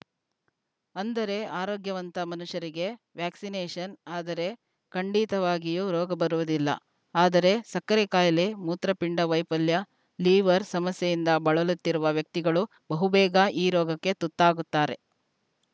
ಅಂದರೆ ಆರೋಗ್ಯವಂತ ಮನುಷ್ಯರಿಗೆ ವ್ಯಾಕ್ಸಿನೇಶನ್‌ ಆದರೆ ಖಂಡಿತವಾಗಿಯೂ ರೋಗ ಬರುವುದಿಲ್ಲ ಆದರೆ ಸಕ್ಕರೆ ಕಾಯಿಲೆ ಮೂತ್ರ ಪಿಂಡ ವೈಪಲ್ಯ ಲಿವರ್‌ ಸಮಸ್ಯೆಯಿಂದ ಬಳಲುತ್ತಿರುವ ವ್ಯಕ್ತಿಗಳು ಬಹು ಬೇಗ ಈ ರೋಗಕ್ಕೆ ತುತ್ತಾಗುತ್ತಾರೆ